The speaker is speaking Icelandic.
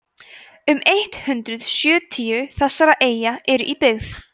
um eitt hundruð sjötíu þessara eyja eru í byggð